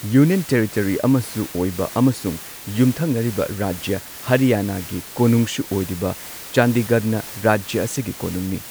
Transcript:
Union territory ꯑꯃꯁꯨ ꯑꯣꯏꯕ ꯑꯃꯁꯨꯡ ꯌꯨꯝꯊꯪꯅꯔꯤꯕ ꯔꯥꯖ꯭ꯌꯥ ꯍꯔꯌꯥꯥꯅꯥꯒꯤ ꯀꯣꯅꯨꯡꯁꯨ ꯑꯣꯏꯔꯤꯕ ꯆꯥꯟꯗꯤꯒꯔꯅ ꯔꯥꯖ꯭ꯌꯥ ꯑꯁꯤꯒꯤ ꯀꯣꯅꯨꯡꯅꯤ꯫